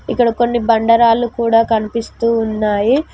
ఇక్కడ కొన్ని బండరాళ్లు కూడా కనిపిస్తూ ఉన్నాయి.